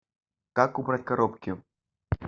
как убрать коробки